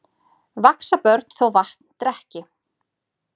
Vaxa börn þó vatn drekki.